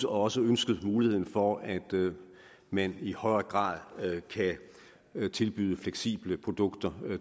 også ønskede muligheden for at man i højere grad kan tilbyde fleksible produkter